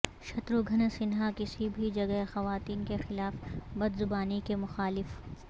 شتروگھن سنہا کسی بھی جگہ خواتین کے خلاف بدزبانی کے مخالف